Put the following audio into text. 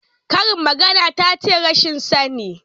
Karin magana tace rashin sani?